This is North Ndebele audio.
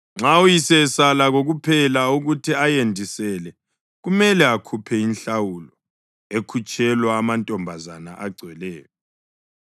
Nxa uyise esala kokuphela ukuthi ayendisele, kumele akhuphe inhlawulo ekhutshelwa amantombazana agcweleyo.